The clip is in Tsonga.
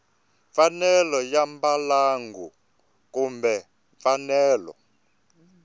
mfanelo ya mbalango kumbe mfanelo